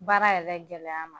Baara yɛrɛ gɛlɛya ma